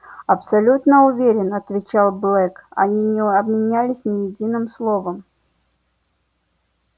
абсолютно уверен отвечал блэк они не обменялись ни единым словом